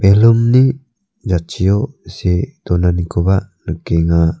ballon-ni jatchio see donanikoba nikenga.